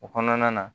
O kɔnɔna na